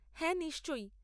হ্যাঁ নিশ্চয়ই।